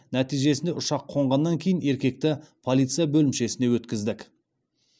нәтижесінде ұшақ қонғаннан кейін еркекті полиция бөлімшесіне өткіздік